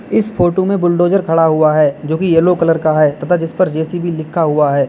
इस फोटो में बुलडोजर खड़ा हुआ है जो कि येलो कलर का है तथा जिस पर जे_सी_बी लिखा हुआ है।